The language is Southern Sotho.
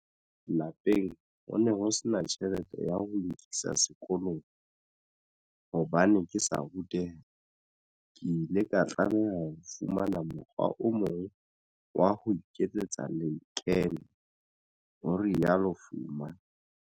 Lapeng ho ne ho sena tjhelete ya ho nkisa sekolong. Hobane ke sa ruteha, ke ile ka tlameha ho fumana mokgwa o mong wa ho iketsetsa lekeno, ho rialo Fuma.